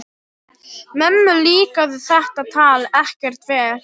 Mömmu líkaði þetta tal ekkert vel.